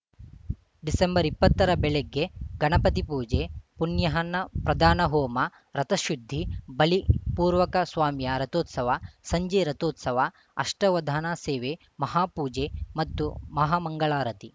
December ಇಪ್ಪತ್ತರ ಬೆಳಗ್ಗೆ ಗಣಪತಿ ಪೂಜೆ ಪುಣ್ಯಾಹನ್ನ ಪ್ರಧಾನ ಹೋಮ ರಥಶುದ್ಧಿ ಬಲಿಪೂರ್ವಕ ಸ್ವಾಮಿಯ ರಥೋತ್ಸವ ಸಂಜೆ ರಥೋತ್ಸವ ಅಷ್ಟಾವಧಾನ ಸೇವೆ ಮಹಾಪೂಜೆ ಮತ್ತು ಮಹಾಮಂಗಳಾರತಿ